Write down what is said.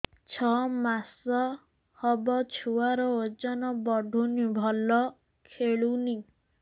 ଛଅ ମାସ ହବ ଛୁଆର ଓଜନ ବଢୁନି ଭଲ ଖେଳୁନି